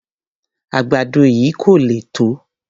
Àgbàdo yìí kò le tó.